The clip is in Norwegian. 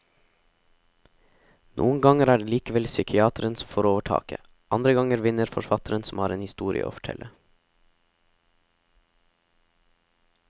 Noen ganger er det likevel psykiateren som får overtaket, andre ganger vinner forfatteren som har en historie å fortelle.